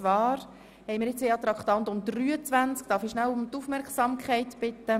Darf ich um Ihre Aufmerksamkeit bitten?